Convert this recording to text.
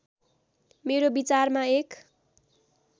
मेरो विचारमा एक